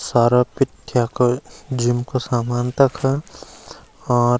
सारा पिथ्यक जिम कु सामान तख और --